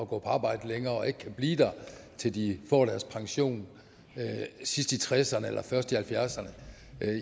på arbejde længere og ikke kan blive der til de får deres pension sidst i tresserne eller først i halvfjerdserne